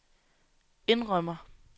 indrømmer